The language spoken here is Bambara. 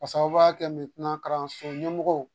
K'a sababuya kɛ kalanso ɲɛmɔgɔw